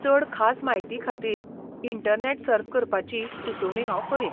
चड खास म्हायतीखातीर इंटरनॅट सर्फ करपाची सुचोवणी हांव करीन.